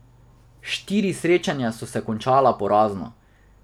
Štiri srečanja so se končala porazno.